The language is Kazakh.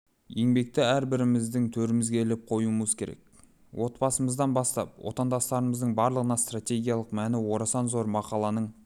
еңбекті әрбіріміздің төрімізге іліп қоюымыз керек отбасымыздан бастап отандастарымыздың барлығына стратегиялық мәні орасан зор мақаланың